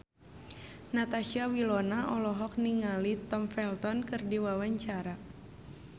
Natasha Wilona olohok ningali Tom Felton keur diwawancara